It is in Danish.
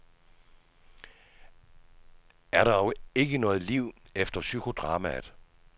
Er der ikke noget liv efter psykodramaet.